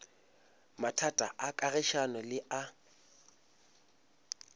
mathata a kagišano le a